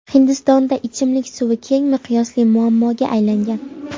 Hindistonda ichimlik suvi keng miqyosli muammoga aylangan.